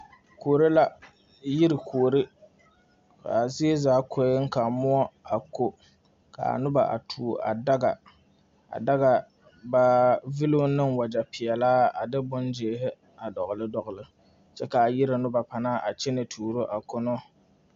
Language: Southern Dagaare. Kuore la yire kuore kaa zie zaa koeŋ kaa mlɔ a ko kaa nobɔ a tuo a daga a daga ba villooŋ ne wagyɛ peɛlaa a de bon gyeehi a dɔgle dɔgle kyɛ kaa yiri nobɔ panaa kyɛne tuuro a kono.